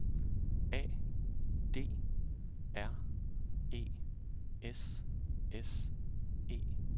A D R E S S E